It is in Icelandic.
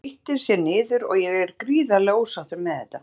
Hann grýtir sér niður og ég er gríðarlega ósáttur með þetta.